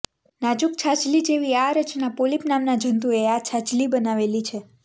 નાજુક છાજલી જેવી આ રચના પોલિપ નામના જંતુઓએ આ છાજલી બનાવેલી છે